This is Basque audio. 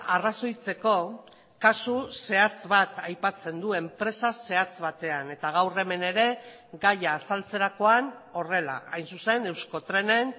arrazoitzeko kasu zehatz bat aipatzen du enpresa zehatz batean eta gaur hemen ere gaia azaltzerakoan horrela hain zuzen euskotrenen